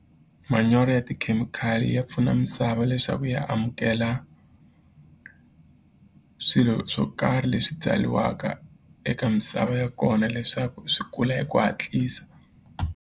Manyoro ya tikhemikhali ya pfuna misava leswaku ya amukela swilo swo karhi leswi byaliwaka eka misava ya kona leswaku swi kula hi ku hatlisa.